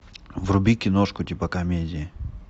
вруби киношку типа комедии